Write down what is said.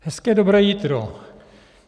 Hezké dobré jitro.